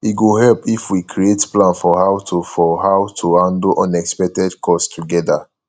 e go help if we create plan for how to for how to handle unexpected costs together